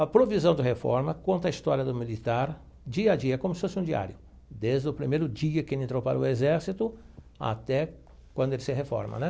A provisão de reforma conta a história do militar dia a dia, como se fosse um diário, desde o primeiro dia que ele entrou para o exército até quando ele se reforma né.